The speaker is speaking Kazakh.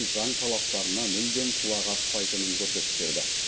заң талаптарына мүлдем құлақ аспайтынын көрсетіп берді